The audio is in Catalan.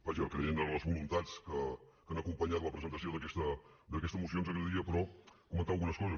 vaja creient en les voluntats que han acompanyat la presentació d’aquesta moció ens agradaria però comentar algunes coses